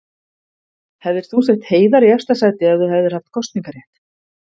Hefðir þú sett Heiðar í efsta sæti ef þú hefðir haft kosningarétt?